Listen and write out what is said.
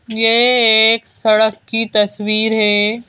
यह एक सड़क की तस्वीर है।